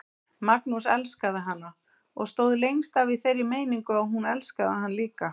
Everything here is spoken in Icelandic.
Magnús elskaði hana og stóð lengst af í þeirri meiningu að hún elskaði hann líka.